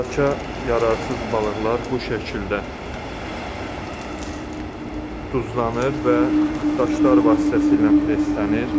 İstehlaka yararsız balıqlar bu şəkildə duzlanır və daşlar vasitəsilə preslənir.